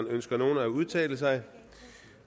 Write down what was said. ønsker nogen at udtale sig